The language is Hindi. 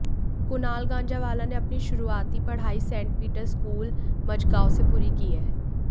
कुनाल गांजावाला ने अपनी शुरुआती पढाई सेंट पिटर स्कूल मजगांव से पूरी की है